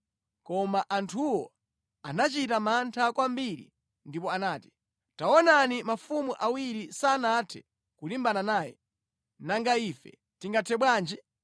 Koma anthuwo anachita mantha kwambiri ndipo anati, “Taonani, mafumu awiri sanathe kulimbana naye, nanga ife tingathe bwanji?”